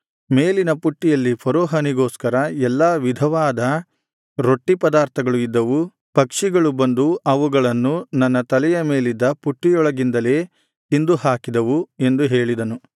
ಮೇಲಿನ ಪುಟ್ಟಿಯಲ್ಲಿ ಫರೋಹನಿಗೋಸ್ಕರ ಎಲ್ಲಾ ವಿಧವಾದ ರೊಟ್ಟಿ ಪದಾರ್ಥಗಳು ಇದ್ದವು ಪಕ್ಷಿಗಳು ಬಂದು ಅವುಗಳನ್ನು ನನ್ನ ತಲೆಯ ಮೇಲಿದ್ದ ಪುಟ್ಟಿಯೊಳಗಿಂದಲೇ ತಿಂದುಹಾಕಿದವು ಎಂದು ಹೇಳಿದನು